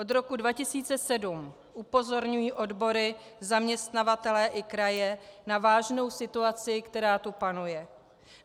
Od roku 2007 upozorňují odbory zaměstnavatele i kraje na vážnou situaci, která tu panuje.